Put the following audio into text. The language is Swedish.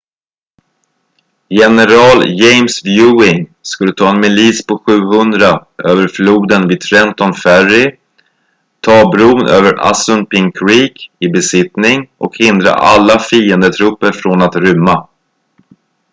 general james ewing skulle ta en milis på 700 över floden vid trenton ferry ta bron över assunpink creek i besittning och hindra alla fiendetrupper från att rymma